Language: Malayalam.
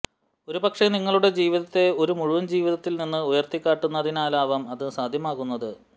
ഒരുപക്ഷേ നിങ്ങളുടെ ജീവിതത്തെ ഒരു മുഴുവൻ ജീവിതത്തിൽ നിന്ന് ഉയർത്തിക്കാട്ടുന്നതിനാലാവാം അത് സാധ്യമാകുന്നത്